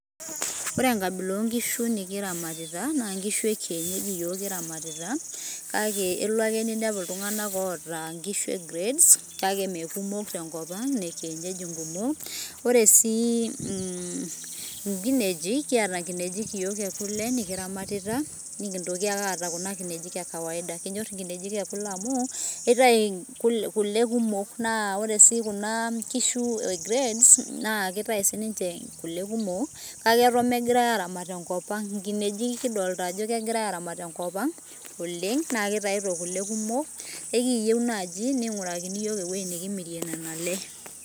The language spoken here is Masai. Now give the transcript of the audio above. Ore enkabila onkishu nikiramatita, na inkshu ekienyeji yiok kiramatita. Kake elo ake ninepu iltung'anak oota nkishu e grade ,kake mekumok tenkop ang',ne kienyeji nkumok. Ore si inkinejik kiata, kiata nkinejik yiok ekule nikiramatita, nikintoki ake aata kuna kinejik ekawaida. Kinyor inkinejik ekule amu, etayu kule kumok naa ore si kuna kishu e grade ,na kitayu sininche kule kumok, kake eton megirai aramat tenkop ang'. Nkinejik kidolta ajo kegirai aramat tenkop ang' oleng', na kitayuto kule kumok, ekiyieu naaji ning'urakini yiok ewueji nikimirie nena le.